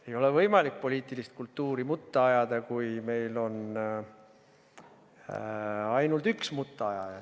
Ei ole võimalik poliitilist kultuuri mutta ajada, kui meil oleks ainult üks mutta ajaja.